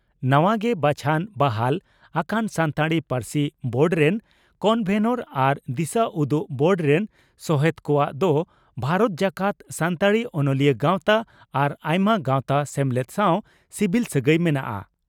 ᱱᱟᱣᱟ ᱜᱮ ᱵᱟᱪᱷᱚᱱ/ᱵᱟᱦᱟᱞ ᱟᱠᱟᱱ ᱥᱟᱱᱛᱟᱲᱤ ᱯᱟᱹᱨᱥᱤ ᱵᱳᱰ ᱨᱮᱱ ᱠᱚᱱᱵᱷᱮᱱᱚᱨ ᱟᱨ ᱫᱤᱥᱟᱹᱩᱫᱩᱜ ᱵᱳᱨᱰ ᱨᱮᱱ ᱥᱚᱦᱮᱛ ᱠᱚᱣᱟᱜ ᱫᱚ ᱵᱷᱟᱨᱚᱛ ᱡᱟᱠᱟᱛ ᱥᱟᱱᱛᱟᱲᱤ ᱚᱱᱚᱞᱤᱭᱟᱹ ᱜᱟᱣᱛᱟ ᱟᱨ ᱟᱭᱢᱟ ᱜᱟᱣᱛᱟ/ᱥᱮᱢᱞᱮᱫ ᱥᱟᱣ ᱥᱤᱵᱤᱞ ᱥᱟᱹᱜᱟᱹᱭ ᱢᱮᱱᱟᱜᱼᱟ ᱾